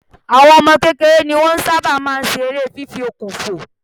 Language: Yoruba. Àwọn ọmọ kékeré ni wọ́n ń sábà ma ń ṣe eré fífi okùn fò